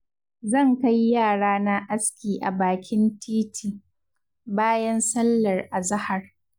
Zan kai yarana aski a bakin titi, bayan sallar azahar.